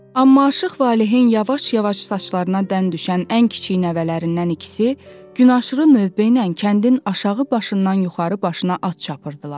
Amma Aşıq Valehin yavaş-yavaş saçlarına dən düşən ən kiçik nəvələrindən ikisi gün aşırı növbə ilə kəndin aşağı başından yuxarı başına at çapırdılar.